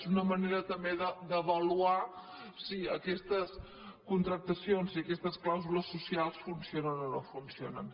és una manera també d’avaluar si aquestes contractacions i aquestes clàusules socials funcionen o no funcionen